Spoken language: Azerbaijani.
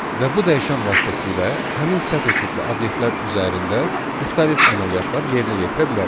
Və bu dəyişən vasitəsilə həmin sətr tipli obyektlər üzərində müxtəlif əməliyyatlar yerinə yetirə bilərik.